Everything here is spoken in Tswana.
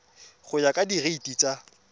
go ya ka direiti tsa